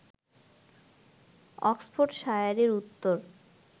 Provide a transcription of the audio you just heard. অক্সফোর্ডশায়ারের উত্তর